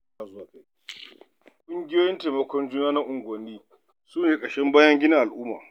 Ƙungiyoyin taimakon juna na unguwanni su ne ƙashin bayan gina al'umma.